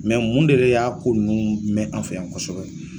mun de y'a ko nunnu mɛn an fɛ yan kosɔbɛ ?